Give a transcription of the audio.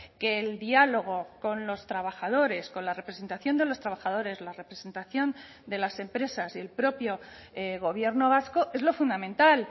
que el diálogo con los trabajadores con la representación de los trabajadores la representación de las empresas y el propio gobierno vasco es lo fundamental